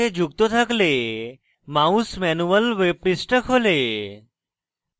mouse manual web পৃষ্ঠা খোলে